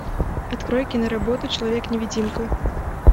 открой киноработу человек невидимка